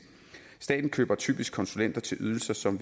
staten køber typisk konsulenter til ydelser som